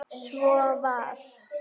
Svo var.